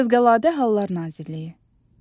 Fövqəladə Hallar Nazirliyi.